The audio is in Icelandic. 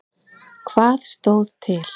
Hvað stóð til?